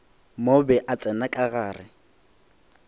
mobe a tsena ka gare